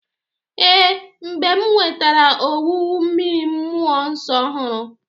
Ee, mgbe m nwetara ọwụwụ mmiri mmụo nso ọhụrụ.